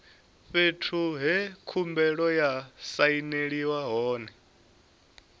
fhethu he khumbelo ya sainelwa hone